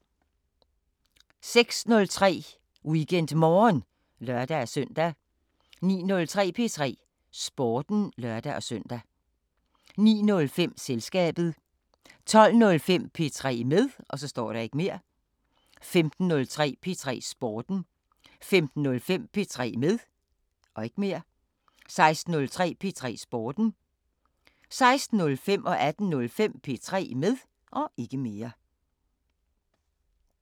06:03: WeekendMorgen (lør-søn) 09:03: P3 Sporten (lør-søn) 09:05: Selskabet 12:05: P3 med 15:03: P3 Sporten 15:05: P3 med 16:03: P3 Sporten 16:05: P3 med 18:05: P3 med